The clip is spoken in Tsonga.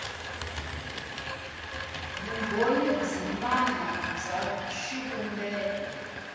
vumbhoni byin wana bya xivumbeko